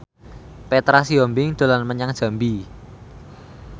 Petra Sihombing dolan menyang Jambi